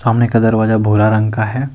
सामने का दरवाजा भूरा रंग का है।